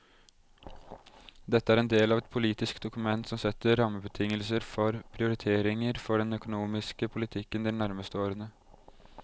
Dette er en del av et politisk dokument som setter rammebetingelser for prioriteringer for den økonomiske politikken de nærmeste årene.